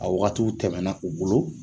A wagatiw tɛmɛ na u bolo.